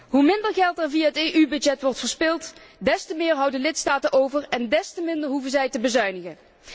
Hoe minder geld er via het EU budget wordt verspeeld, des te meer houden lidstaten over, en des te minder hoeven zij te bezuinigen.